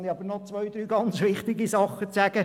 Nun habe ich noch ein paar sehr wichtige Dinge zu sagen.